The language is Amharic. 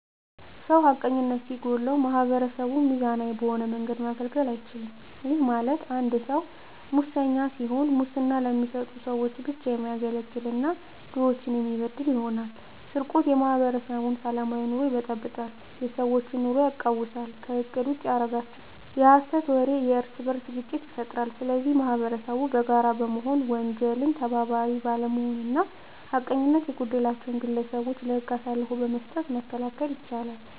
ሰው ሀቀኝነት ሲጎለዉ ማህበረሰቡን ሚዛናዊ በሆነ መንገድ ማገልገል አይችልም ይህም ማለት አንድ ሰዉ መሰኛ ሲሆን ሙስና ለሚሰጡ ሰዎች ብቻ የሚያገለግል እና ድሆችን የሚበድል ይሆናል። _ስርቆት የማህበረሰቡን ሰላማዊ ኑሮ ይበጠብጣል የሰዎች ኑሮ የቃዉሳል ከእቅድ ውጭ ያደርጋቸዋል። _የሀሰት ወሬ የእርስበርስ ግጭት ይፈጥራል ስለዚህ ማህበረሰቡ በጋራ በመሆን የወንጀል ተባባሪ ባለመሆንና ሀቀኝነት የጎደላቸዉን ግለሰቦች ለህግ አሳልፎ በመስጠት መከላከል ይቻላል።